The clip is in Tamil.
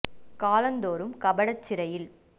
காலந் தோறும் கபடச் சிறையில்